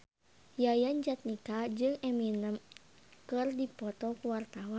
Yayan Jatnika jeung Eminem keur dipoto ku wartawan